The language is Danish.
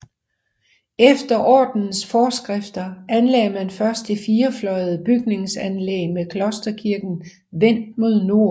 Efter ordenens forskrifter anlagde man først det firefløjede bygningsanlæg med klosterkirken vendt mod nord